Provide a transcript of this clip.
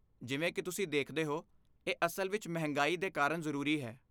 ਜਿਵੇਂ ਕਿ ਤੁਸੀਂ ਦੇਖਦੇ ਹੋ, ਇਹ ਅਸਲ ਵਿੱਚ ਮਹਿੰਗਾਈ ਦੇ ਕਾਰਨ ਜ਼ਰੂਰੀ ਹੈ।